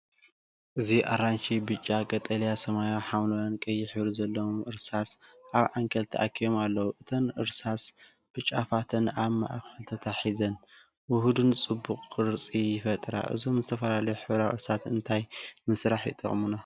እዚ፡ ኣራንሺ፡ ብጫ፡ ቀጠልያ፡ ሰማያዊ፡ ሐምላይን ቀይሕን ሕብሪ ዘለዎም እርሳስ ኣብ ዓንኬል ተኣኪቦም ኣለዉ። እተን እርሳስ ብጫፋተን ኣብ ማእከል ተታሒዘን፡ ውሁድን ጽቡቕን ቅርጺ ይፈጥራ። እዞም ዝተፈላለዩ ሕብራዊ እርሳስ እንታይ ንምስራሕ ይጥቀሙና?